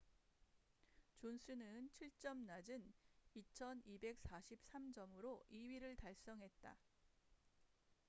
존슨은 7점 낮은 2,243점으로 2위를 달성했다